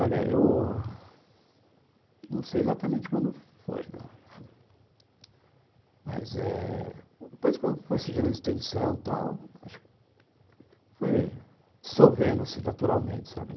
Olha, eu não sei exatamente quando foi, não, mas eh... depois que foi surgindo a extensão tal , foi dissolvendo-se naturalmente, sabe?